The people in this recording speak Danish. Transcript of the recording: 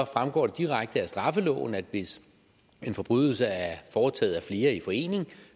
fremgår det direkte af straffeloven at hvis en forbrydelse er foretaget af flere i forening